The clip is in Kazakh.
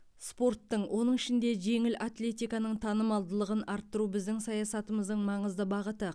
спорттың оның ішінде жеңіл атлетиканың танымалдылығын арттыру біздің саясатымыздың маңызды бағыты